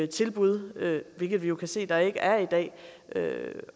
tilbud hvilket vi jo kan se at der ikke er i dag